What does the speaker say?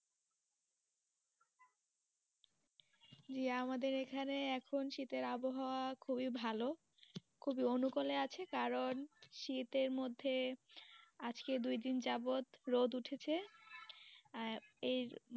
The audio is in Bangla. জি আমাদের এখানে, এখন শীতের আবহাওয়া খুবই ভালো, খুবই অনুকূলে আছে কারণ শীতের মধ্যে আজকে দু দিন যাবৎ রোদ উঠেছে। আহ